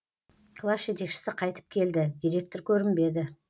класс жетекшісі қайтып келді директор көрінбеді